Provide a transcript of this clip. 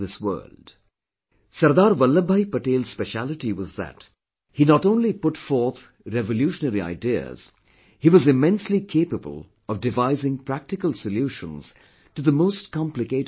Sardar Vallabhbhai Patel's speciality was that he not only put forth revolutionary ideas; he was immensely capable of devising practical solutions to the most complicated problems in the way